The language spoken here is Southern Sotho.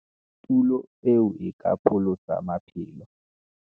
"Tulo eo e ka pholosa maphelo!"